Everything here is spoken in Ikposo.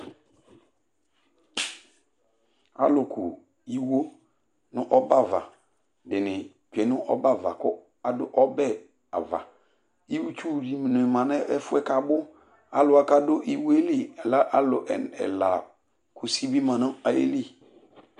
Alʋku iwo nʋ ɔbɛ ava dɩnɩ tsue nʋ ɔbɛ ava kʋ ɔbɛ ava Itsu dɩnɩ ma ɛfʋ yɛ kʋ abʋ Alʋ wa kʋ adʋ iwo yɛ li lɛ alʋ ena ɛla Kusi bɩ ma nʋ ayili